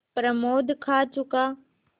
प्रमोद खा चुका